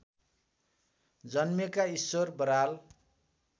जन्मेका ईश्वर बराल